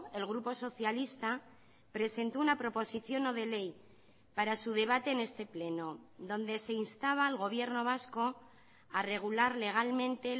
el grupo socialista presentó una proposición no de ley para su debate en este pleno donde se instaba al gobierno vasco a regular legalmente